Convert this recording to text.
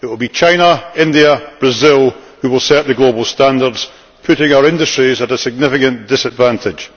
it will be China, India, and Brazil who will set the global standards, putting our industries at a significant disadvantage.